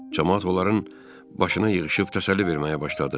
Camaat onların başına yığışıb təsəlli verməyə başladı.